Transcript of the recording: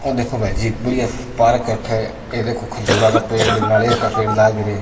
ओ देखो भाईजी बड़िया पार्क है अठ ये देखो खजूरा का पेड़ नारियल का पेड़ लाग रा है।